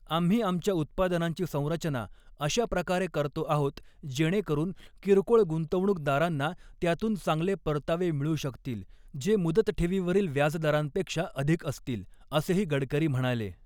आम्ही आमच्या उत्पादनांची संरचना अशाप्रकारे करतो आहोत, जेणेकरुन, किरकोळ गुंतवणूकदारांना त्यातून चांगले परतावे मिळू शकतील, जे मुदतठेवीवरील व्याजदरांपेक्षा अधिक असतील, असेही गडकरी म्हणाले.